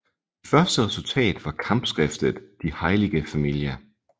Det første resultatet var kampskriftet Die heilige Familie